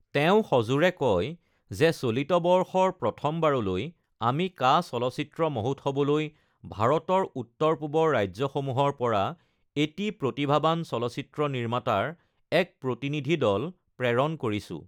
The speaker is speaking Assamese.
তেওঁ সজোৰে কয় যে চলিত বৰ্ষৰ প্ৰথমবাৰলৈ আমি কাঁ চলচ্চিত্ৰ মহোৎসৱলৈ ভাৰতৰ উত্তৰ পূবৰ ৰাজ্যসমূহৰ পৰা এটা প্ৰতিভাৱান চলচ্চিত্ৰ নিৰ্মাতাৰ এক প্ৰতিনিধি দল প্ৰেৰণ কৰিছো।